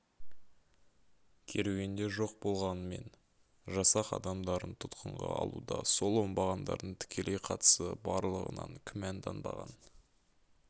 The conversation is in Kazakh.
керуенде жоқ болғанымен жасақ адамдарын тұтқынға алуда сол оңбағандардың тікелей қатысы барлығынан күмәнданбаған